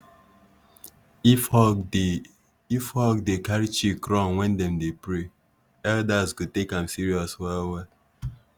if hawk dey if hawk dey carry chick run when dem dey pray elders go take am serious well well.